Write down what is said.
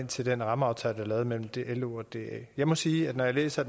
til den rammeaftale der er mellem lo og da jeg må sige at når jeg læser